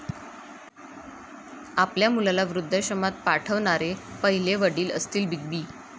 आपल्या मुलाला वृद्धाश्रमात पाठवणारे पहिले वडील असतील बिग बी